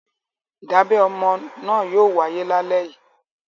Ìdábẹ ọmọ náà yóò wáyé lálẹ́ yìí.